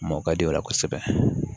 Mɔɔ ka di o la kosɛbɛ